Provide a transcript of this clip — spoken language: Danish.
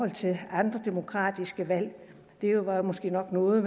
til andre demokratiske valg det var måske nok noget